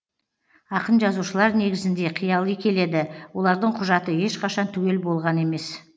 ақын жазушылар негізінде қияли келеді олардың құжаты ешқашан түгел болған емес